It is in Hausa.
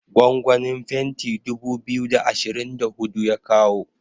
gwangwanin fenti dubu biyu da ashirin da hudu ya kawo